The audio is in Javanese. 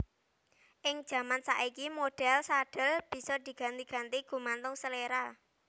Ing jaman saiki modhèl sadhel bisa diganti ganti gumantung seléra